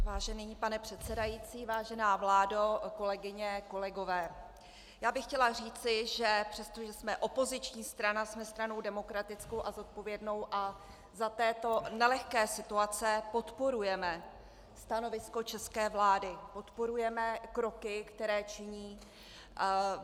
Vážený pane předsedající, vážená vládo, kolegyně, kolegové, já bych chtěla říci, že přestože jsme opoziční strana, jsme stranou demokratickou a zodpovědnou a za této nelehké situace podporujeme stanovisko české vlády, podporujeme kroky, které činí.